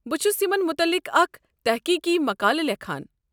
بہٕ چھُس یمن متعلق اکھ تحقیقی مقالہٕ لیکھان۔